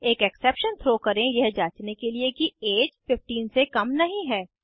एक exception throw करें यह जांचने के लिए कि ऐज 15 से कम नहीं है